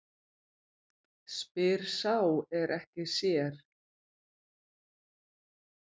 Spyr sá er ekki sér.